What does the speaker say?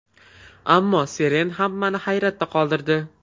Ammo Seren hammani hayratda qoldirdi.